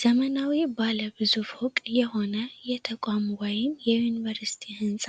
ዘመናዊ ባለ ብዙ ፎቅ የሆነ የተቋም ወይም የዩኒቨርስቲ ህንጻ